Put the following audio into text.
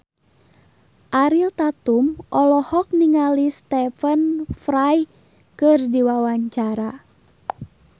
Ariel Tatum olohok ningali Stephen Fry keur diwawancara